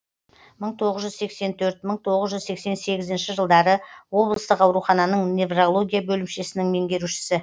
мың тоғыз жүз сексен төрт мың тоғыз жүз сексен сегізінші жылдары облыстық аурухананың неврология бөлімшесінің меңгерушісі